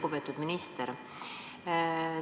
Lugupeetud minister!